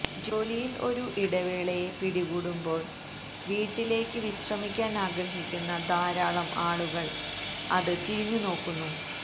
ജോലിയിൽ ഒരു ഇടവേളയെ പിടികൂടുമ്പോൾ വീട്ടിലേയ്ക്ക് വിശ്രമിക്കാൻ ആഗ്രഹിക്കുന്ന ധാരാളം ആളുകൾ അത് തിരിഞ്ഞുനോക്കുന്നു